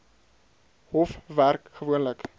hof werk gewoonlik